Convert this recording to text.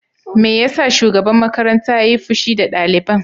Me yasa shugaban makarantar yayi fushi da daliban?